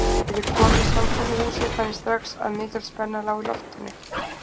Þegar ég kom í samkomuhúsið fann ég strax að mikil spenna lá í loftinu.